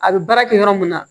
A bɛ baara kɛ yɔrɔ min na